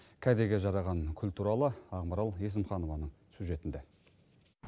кәдеге жараған күл туралы ақмарал есімханованың сюжетінде